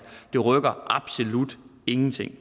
det rykker absolut ingenting